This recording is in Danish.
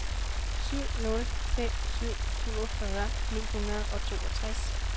syv nul fem syv syvogfyrre ni hundrede og toogtres